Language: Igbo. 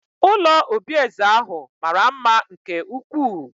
Ụlọ obi eze ahụ mara mma nke ukwuu